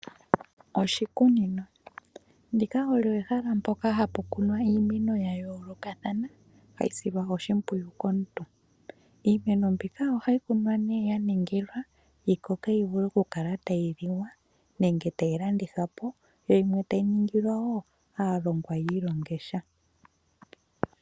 Oshikunino, ndika olyo ehala mpoka hapu kunwa iimeno yayoolokathana hayi silwa oshimwiyu komuntu. Iimeno mbika ohayi kunwa ne yaningilwa yikoke yivule okukala tayi liwa nenge tayi landithwa po, yo yimwe tayi ningilwa wo aalongwa yi ilonge sha.